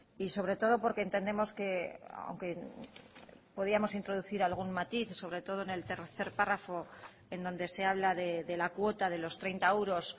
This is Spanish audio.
y sobre todo porque entendemos que aunque podíamos introducir algún matiz sobre todo en el tercer párrafo en donde se habla de la cuota de los treinta euros